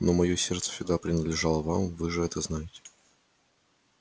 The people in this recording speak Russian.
но моё сердце всегда принадлежало вам вы же это знаете